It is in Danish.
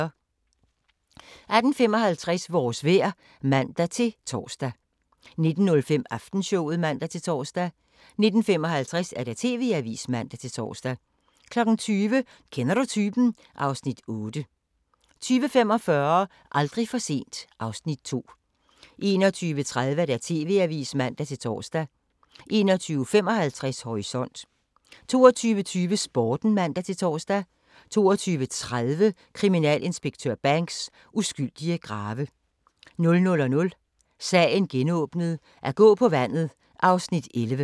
18:55: Vores vejr (man-tor) 19:05: Aftenshowet (man-tor) 19:55: TV-avisen (man-tor) 20:00: Kender du typen? (Afs. 8) 20:45: Aldrig for sent (Afs. 2) 21:30: TV-avisen (man-tor) 21:55: Horisont 22:20: Sporten (man-tor) 22:30: Kriminalinspektør Banks: Uskyldige grave 00:00: Sagen genåbnet: At gå på vandet (Afs. 11)